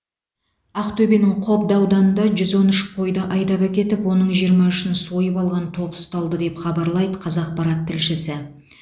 ақтөбенің қобда ауданында жүз он үш қойды айдап әкетіп оның жиырма үшін сойып алған топ ұсталды деп хабарлайды қазақпарат тілшісі